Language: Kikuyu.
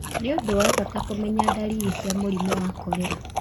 Nĩ ũndũ wa bata kũmenya ndariri cia mũrimũ wa korera.